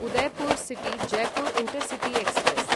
Udaipur city Jaipur intercity express